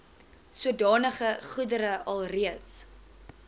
sodanige goedere alreeds